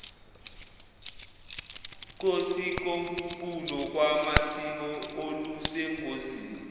kosikompulo lwamasiko olusengozini